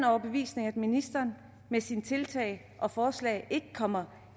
overbevisning at ministeren med sine tiltag og forslag ikke kommer